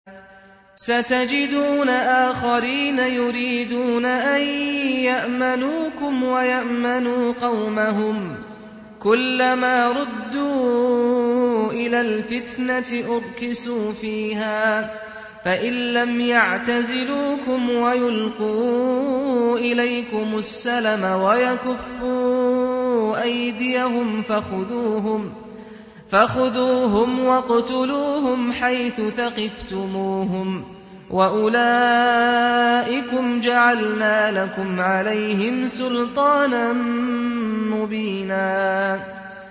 سَتَجِدُونَ آخَرِينَ يُرِيدُونَ أَن يَأْمَنُوكُمْ وَيَأْمَنُوا قَوْمَهُمْ كُلَّ مَا رُدُّوا إِلَى الْفِتْنَةِ أُرْكِسُوا فِيهَا ۚ فَإِن لَّمْ يَعْتَزِلُوكُمْ وَيُلْقُوا إِلَيْكُمُ السَّلَمَ وَيَكُفُّوا أَيْدِيَهُمْ فَخُذُوهُمْ وَاقْتُلُوهُمْ حَيْثُ ثَقِفْتُمُوهُمْ ۚ وَأُولَٰئِكُمْ جَعَلْنَا لَكُمْ عَلَيْهِمْ سُلْطَانًا مُّبِينًا